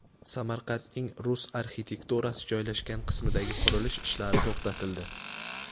Samarqandning rus arxitekturasi joylashgan qismidagi qurilish ishlari to‘xtatildi.